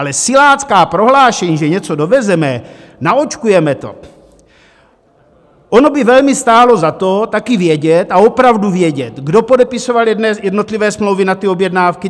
Ale silácká prohlášení, že něco dovezeme, naočkujeme to - ono by velmi stálo za to, taky vědět, a opravdu vědět, kdo podepisoval jednotlivé smlouvy na ty objednávky.